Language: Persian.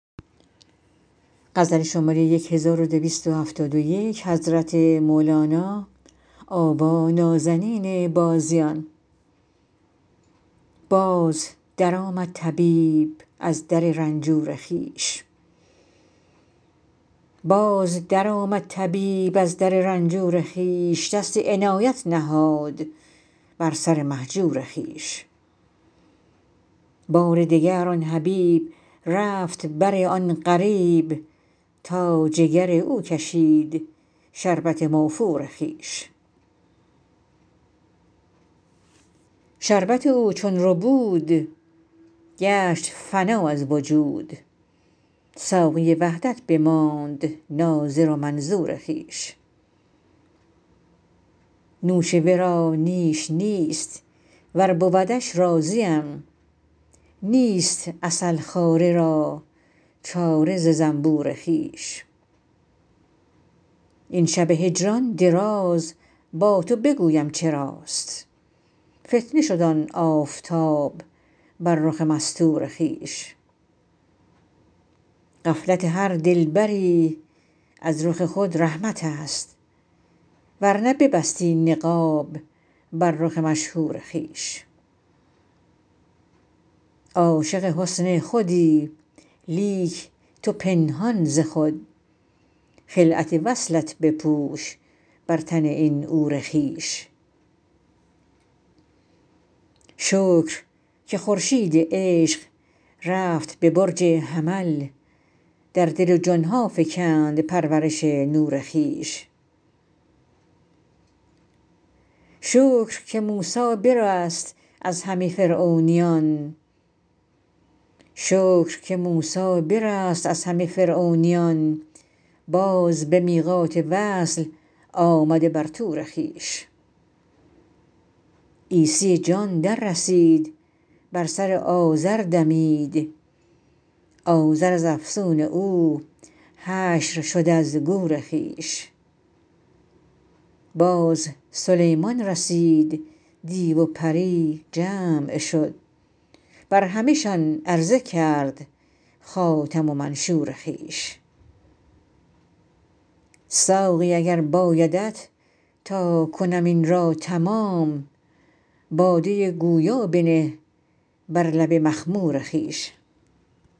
باز درآمد طبیب از در رنجور خویش دست عنایت نهاد بر سر مهجور خویش بار دگر آن حبیب رفت بر آن غریب تا جگر او کشید شربت موفور خویش شربت او چون ربود گشت فنا از وجود ساقی وحدت بماند ناظر و منظور خویش نوش ورا نیش نیست ور بودش راضیم نیست عسل خواره را چاره ز زنبور خویش این شب هجران دراز با تو بگویم چراست فتنه شد آن آفتاب بر رخ مستور خویش غفلت هر دلبری از رخ خود رحمتست ور نه ببستی نقاب بر رخ مشهور خویش عاشق حسن خودی لیک تو پنهان ز خود خلعت وصلت بپوش بر تن این عور خویش شکر که خورشید عشق رفت به برج حمل در دل و جان ها فکند پرورش نور خویش شکر که موسی برست از همه فرعونیان باز به میقات وصل آمد بر طور خویش عیسی جان دررسید بر سر عازر دمید عازر از افسون او حشر شد از گور خویش باز سلیمان رسید دیو و پری جمع شد بر همه شان عرضه کرد خاتم و منشور خویش ساقی اگر بایدت تا کنم این را تمام باده گویا بنه بر لب مخمور خویش